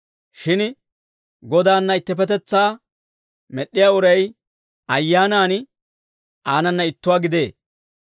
Shin Godaanna ittipetetsaa med'd'iyaa uray ayyaanan aanana ittuwaa gidee.